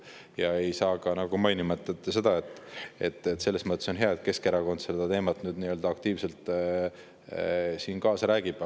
Ja ei saa mainimata jätta ka seda, et on hea, et Keskerakond sellel teemal siin aktiivselt kaasa räägib.